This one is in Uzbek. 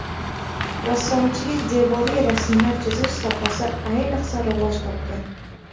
Rassomchilikning devoriy rasmlar chizish sohasi ayniqsa rivoj topgan.